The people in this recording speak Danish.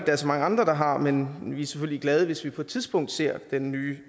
er så mange andre der har men vi bliver selvfølgelig glade hvis vi på et tidspunkt ser den nye